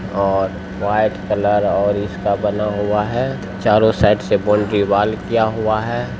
--और white colour और इसका बना हुआ है। चारों साइड से बाउंड्री वॉल किया हुआ है।